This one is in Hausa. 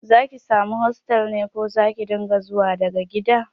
Za ki samu hostel ne ko Zaki na zuwa daga makaranta?